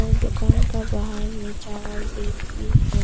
और दुकान का बाहर में चावल बैग भी है।